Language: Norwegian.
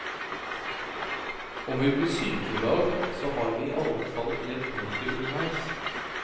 Om vi blir syke en dag, så har vi i alle fall levd ordentlig underveis.